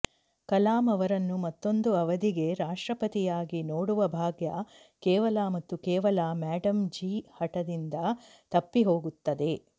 ಕಲಾಂ ಅವರನ್ನು ಮತ್ತೊಂದು ಅವಧಿಗೆ ರಾಷ್ಟ್ರಪತಿಯಾಗಿ ನೋಡುವ ಭಾಗ್ಯ ಕೇವಲ ಮತ್ತು ಕೇವಲ ಮೇಡಮ್ ಜೀ ಹಠದಿಂದ ತಪ್ಪಿ ಹೋಗುತ್ತದೆ